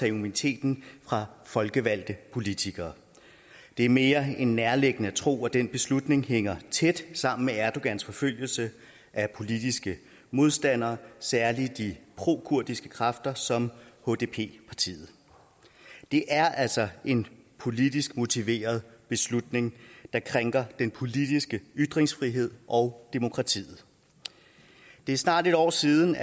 immuniteten fra folkevalgte politikere det er mere end nærliggende at tro at den beslutning hænger tæt sammen med erdogans forfølgelse af politiske modstandere særlig de prokurdiske kræfter som hdp partiet det er altså en politisk motiveret beslutning der krænker den politiske ytringsfrihed og demokratiet det er snart et år siden